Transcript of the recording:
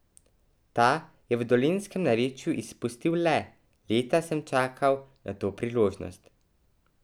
Ta je v dolenjskem narečju izustil le: 'Leta sem čakal na to priložnost.